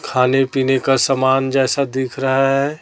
खाने पीने का समान जैसा दिख रहा है।